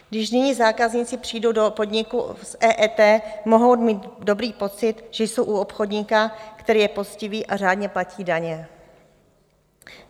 Když nyní zákazníci přijdou do podniku s EET, mohou mít dobrý pocit, že jsou u obchodníka, který je poctivý a řádně platí daně.